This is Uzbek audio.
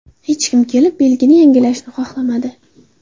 Hech kim kelib, belgini yangilashni xohlamadi.